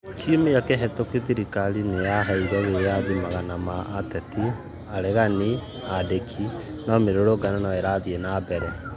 Kĩumĩa kĩhĩtũkũ thĩrĩkarĩ nĩyaheĩre wĩathĩ magana ma atetĩ a ureganĩ na andĩkĩ no mĩrũrũngano no ĩrathĩre na mbere